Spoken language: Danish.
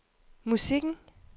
musikken